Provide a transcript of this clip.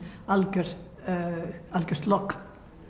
algjört algjört logn